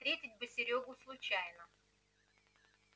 встретить бы серёгу случайно